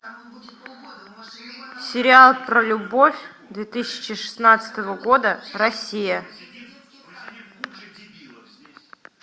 сериал про любовь две тысячи шестнадцатого года россия